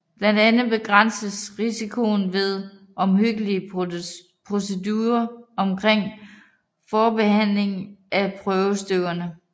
Blandt andet begrænses risikoen ved omhyggelige procedurer omkring forbehandling af prøvestykkerne